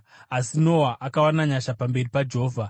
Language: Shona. Asi Noa akawana nyasha pamberi paJehovha.